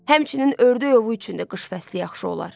Həmçinin ördək ovu üçün də qış fəsli yaxşı olar.